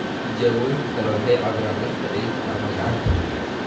Tijaabooyin kale waxay cabbiraan lafta cidhibta ama gacanta.